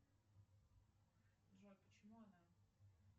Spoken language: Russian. джой почему она